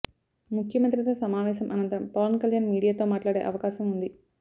ముఖ్యమంత్రితో సమావేశం అనంతరం పవన్ కళ్యాణ్ మీడియాతో మాట్లాడే అవకాశం ఉంది